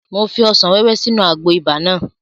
Mo fi ọsàn wẹ́wẹ́ sínú àgbo ibà náà